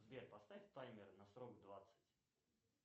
сбер поставь таймер на срок двадцать